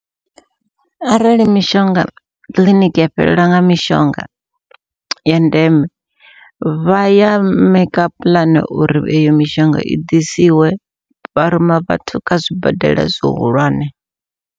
Arali mishonga kiḽiniki ya fhelelwa nga mishonga ya ndeme, vha ya maker puḽane uri eyo mishonga i ḓisiwe vharuma vhathu kha zwibadela zwihulwane.